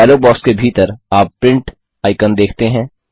dialogue box के भीतर आप प्रिंट आइकन देखते हैं